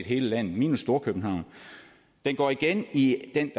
hele landet minus storkøbenhavn den går igen i den